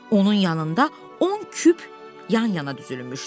Onun yanında on küp yan-yana düzülmüşdü.